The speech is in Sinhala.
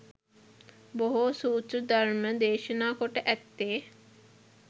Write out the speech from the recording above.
බොහෝ සූත්‍ර ධර්ම දේශනා කොට ඇත්තේ